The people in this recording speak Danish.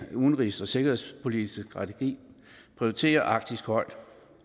udenrigs og sikkerhedspolitiske strategi prioriterer arktis højt